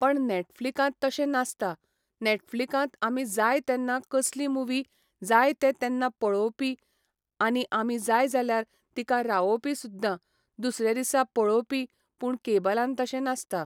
पण नेटफ्लिकांत तशें नासता नेटफ्लिकांत आमी जाय तेन्ना कसली मुवी जाय ते तेन्ना पळोवपी आनी आमी जाय जाल्यार तिका रावोवपी सुद्दां दुसरे दिसा पळोवपी पूण केबलान तशें नासता